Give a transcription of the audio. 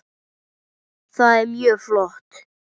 Það er mjög flott.